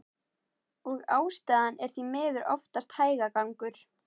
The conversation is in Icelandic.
Og ástæðan er því miður oftast hægagangur.